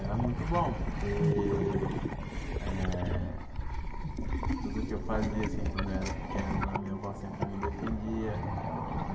Era muito bom, porque eh tudo o que eu fazia assim quando eu era pequeno, a minha avó sempre me defendia.